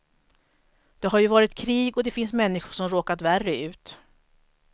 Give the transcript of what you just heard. Det har ju varit krig och det finns människor som råkat värre ut.